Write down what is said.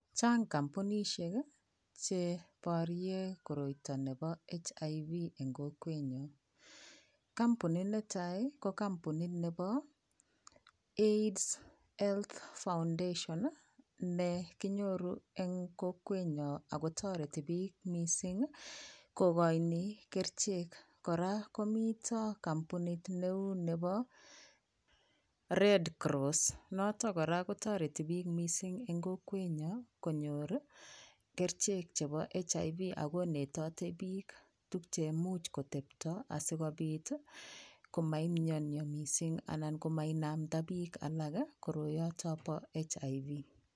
Chang kampunisyek cheboryen koroito ne boo HIV eng kokwenyon, kampunit netai ko kampunit nebo AIDS health foundation ne kinyoru eng kokwenyon ako toreti bik mising kokainen kerichek, koraa komiten neu rebo red cross noton koraa kotoreti bik mising eng kokwenyon konyor kerichek chebo HIV akonetate bik tuk cheimuch kotebto asikobit komamnyania mising anan komanamda bbik alak koroi bo HIV.